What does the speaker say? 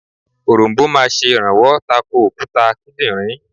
Òronbó máa sè rànwọ́ tako òkúta kídìnrín